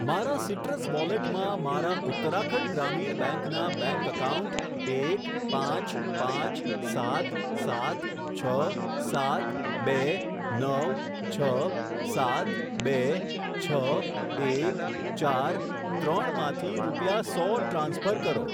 મારા સીટ્રસ વોલેટમાં મારા ઉત્તરાખંડ ગ્રામીણ બેંક ના બેંક એકાઉન્ટ એક પાંચ પાંચ સાત સાત છ સાત બે નવ છ સાત બે છ એક ચાર ત્રણ માંથી રૂપિયા સો ટ્રાન્સફર કરો.